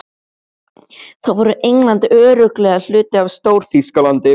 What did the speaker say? Þá verður England örugglega hluti af Stór-Þýskalandi.